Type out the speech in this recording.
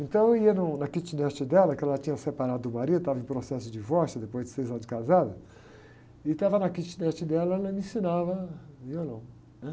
Então eu ia no, na kitnet dela, que ela tinha separado do marido, estava em processo de divórcio depois de seis anos de casada, e estava na kitnet dela e ela me ensinava violão, né?